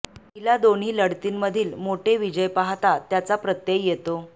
पहिल्या दोन्ही लढतींमधील मोठे विजय पाहता त्याचा प्रत्यय येतो